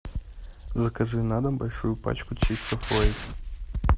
закажи на дом большую пачку чипсов лейс